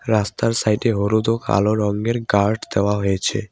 রাস্তার সাইড -এ হলুদ ও কালো রঙ্গের গার্ড দেওয়া হয়েছে।